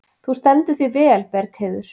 Þú stendur þig vel, Bergheiður!